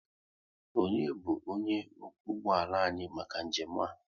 Onye bu onye okwu ụgbọala anyị maka njem a?